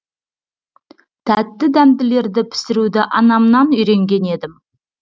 тәтті дәмділерді пісіруді анамнан үйренген едім